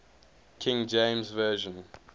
king james version